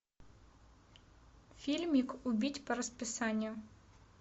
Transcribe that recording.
фильмик убить по расписанию